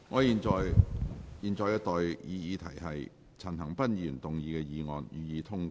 現在的待議議題是：陳恒鑌議員動議的議案，予以通過。